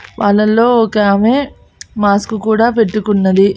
వాళ్ళల్లో ఒకామె మాస్క్ కూడా పెట్టుకున్నది.